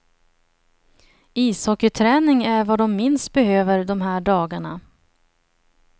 Ishockeyträning är vad de minst behöver de här dagarna.